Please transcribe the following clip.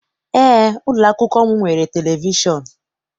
Eé, ụlọakwụkwọ m nwere televishọn.